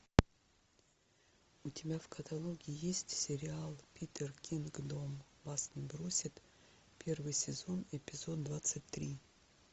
у тебя в каталоге есть сериал питер кингдом вас не бросит первый сезон эпизод двадцать три